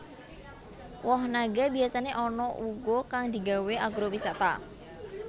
Woh naga biyasané ana uga kang digawé agrowisata